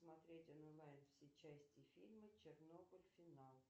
смотреть онлайн все части фильма чернобыль финал